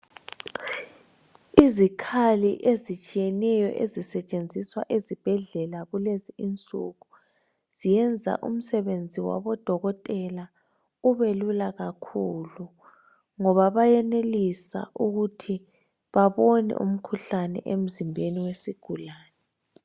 Izikhali ezitshiyeneyo ezisetshenziswa ezibhedlela kulezi insuku, ziyenza umsebenzi wabo dokotela ubelula kakhulu ngoba bayenelise ukuthi babone umkhuhlane emzimbeni wesigulani.